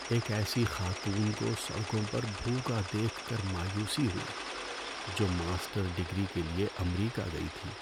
ایک ایسی خاتون کو سڑکوں پر بھوکا دیکھ کر مایوسی ہوئی جو ماسٹر ڈگری کے لیے امریکہ گئی تھی۔